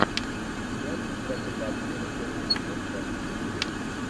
сериальчик братья по обмену первый сезон часть четыре